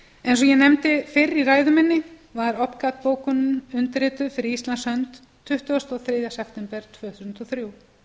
eins og ég nefndi fyrr í ræðu minni var opcat bókunin undirrituð fyrir íslands hönd tuttugasta og þriðja september tvö þúsund og þrjú